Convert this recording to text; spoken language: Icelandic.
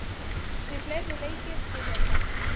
Því fleiri leikir, því betra.